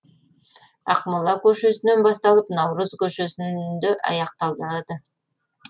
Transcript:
ақмола көшесінен басталып наурыз көшесінде аяқталады